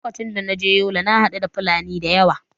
Lokacin da na je yola na haɗu da fulani da yawa